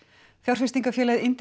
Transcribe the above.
fjárfestingarfélagið